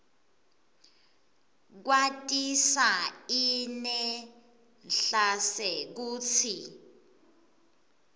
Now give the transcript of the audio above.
kwatisa inedlac kutsi